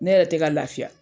Ne yɛrɛ tɛ ka lafiya.